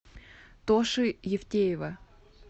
тоши евтеева